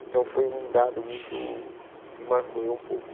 Então foi um dado muito que marcou eu um pouco.